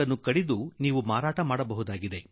್ನು ಕಡಿದು ಮಾರಾಟ ಮಾಡಬಹುದಾಗಿದೆ